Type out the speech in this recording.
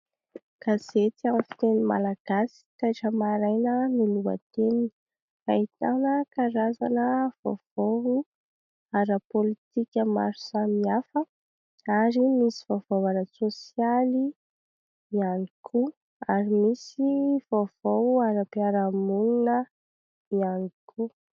Gazety amin'ny teny malagasy, "Taitra maraina" ny lohateniny. Ahitana karazana vaovao ara-pôlitika maro samihafa ary misy vaovao ara-tsôsialy ihany koa ary misy vaovao ara-piarahamonina ihany koa.